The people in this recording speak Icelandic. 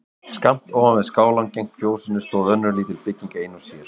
Skammt ofan við skálann gegnt fjósinu stóð önnur lítil bygging ein og sér.